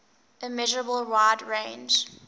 immeasurable wide range